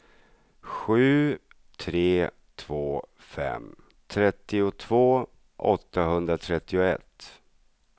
sju tre två fem trettiotvå åttahundratrettioett